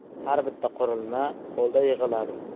Har bitta qurilma qo‘lda yig‘iladi.